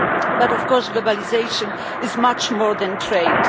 But of course, globalisation is much more than trade.